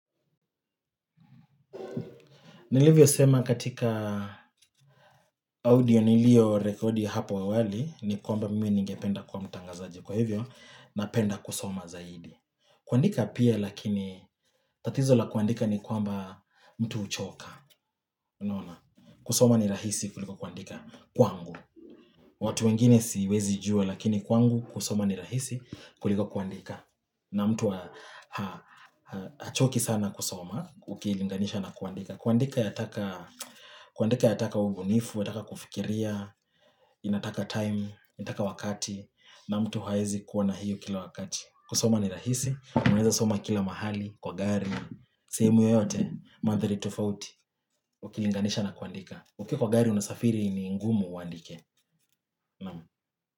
Nilivyo sema katika audio niliyorekodi hapo awali ni kwamba mimi ningependa kuwa mtangazaji kwa hivyo na penda kusoma zaidi. Kuandika pia lakini tatizo la kuandika ni kwamba mtu huchoka. Kusoma ni rahisi kuliko kuandika kwangu. Watu wengine siwezi jua lakini kwangu kusoma ni rahisi kuliko kuandika. Na mtu hachoki sana kusoma ukilinganisha na kuandika. Kuandika yataka ubunifu, yataka kufikiria, inataka time, inataka wakati na mtu haezi kuwa na hiyo kila wakati kusoma ni rahisi, unaweza soma kila mahali, kwa gari sehemu yoyote, mandhari tofauti, ukilinganisha na kuandika Uki kwa gari unasafiri ni ngumu uandike Naam.